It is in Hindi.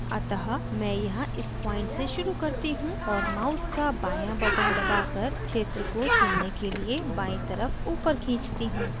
अतः मैं यहाँ इस point से शुरू करती हूँ और mouse का बायाँ button दबाकर क्षेत्र को चुनने के लिए बायीं तरफ upward खींचती हूँ